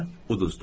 Və uduzdum.